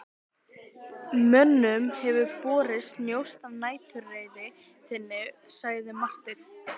Mönnum hefur borist njósn af næturreið þinni, sagði Marteinn.